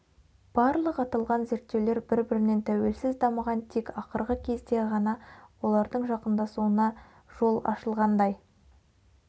барлық аталған зерттеулер бір-бірінен тәуелсіз дамыған тек ақырғы кезде ған олардың жақындасуына дол ашылғандай